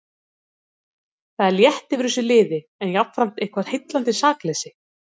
Það er létt yfir þessu liði en jafnframt eitthvert heillandi sakleysi.